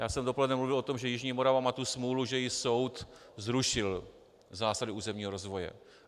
Já jsem dopoledne mluvil o tom, že jižní Morava má tu smůlu, že jí soud zrušil zásady územního rozvoje.